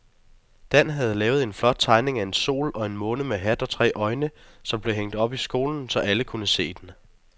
Dan havde lavet en flot tegning af en sol og en måne med hat og tre øjne, som blev hængt op i skolen, så alle kunne se den.